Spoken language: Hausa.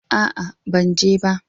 A'a, ban je ba.